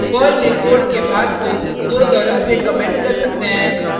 Perl में code के भाग को दो तरह से कमेंट कर सकते हैं